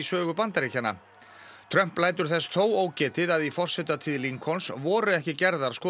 Trump lætur þess þó ógetið að í forsetatíð voru ekki gerðar skoðanakannanir